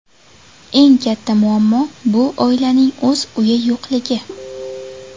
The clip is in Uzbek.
Eng katta muammo bu oilaning o‘z uyi yo‘qligi.